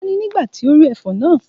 Òógùn bo Tọ́lání nígbà tí ó rí ẹfọ̀n náà